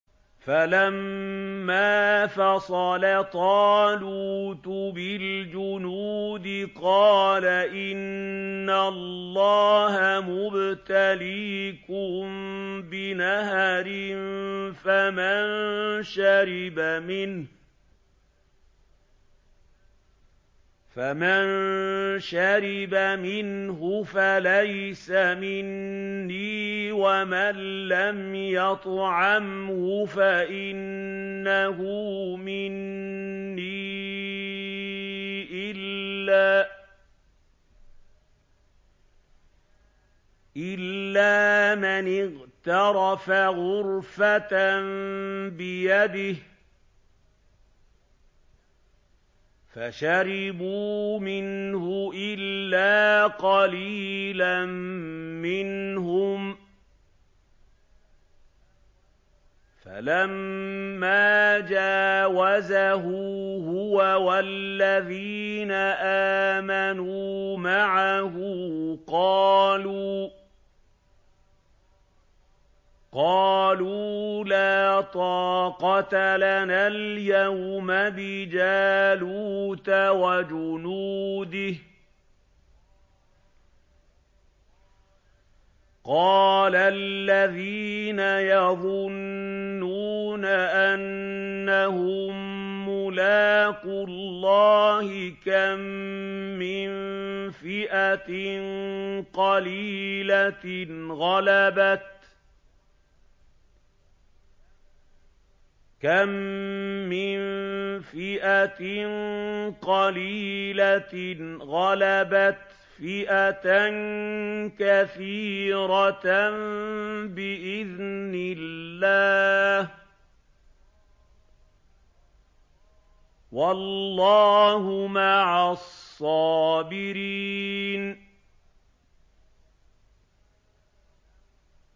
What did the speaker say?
فَلَمَّا فَصَلَ طَالُوتُ بِالْجُنُودِ قَالَ إِنَّ اللَّهَ مُبْتَلِيكُم بِنَهَرٍ فَمَن شَرِبَ مِنْهُ فَلَيْسَ مِنِّي وَمَن لَّمْ يَطْعَمْهُ فَإِنَّهُ مِنِّي إِلَّا مَنِ اغْتَرَفَ غُرْفَةً بِيَدِهِ ۚ فَشَرِبُوا مِنْهُ إِلَّا قَلِيلًا مِّنْهُمْ ۚ فَلَمَّا جَاوَزَهُ هُوَ وَالَّذِينَ آمَنُوا مَعَهُ قَالُوا لَا طَاقَةَ لَنَا الْيَوْمَ بِجَالُوتَ وَجُنُودِهِ ۚ قَالَ الَّذِينَ يَظُنُّونَ أَنَّهُم مُّلَاقُو اللَّهِ كَم مِّن فِئَةٍ قَلِيلَةٍ غَلَبَتْ فِئَةً كَثِيرَةً بِإِذْنِ اللَّهِ ۗ وَاللَّهُ مَعَ الصَّابِرِينَ